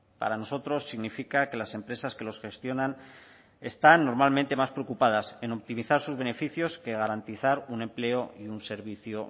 para nosotros significa que las empresas que los gestionan están normalmente más preocupadas en optimizar sus beneficios que garantizar un empleo y un servicio